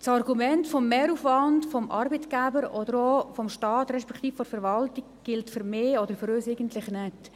Das Argument des Mehraufwands für den Arbeitgeber oder für den Staat, also die Verwaltung, gilt für uns eigentlich nicht.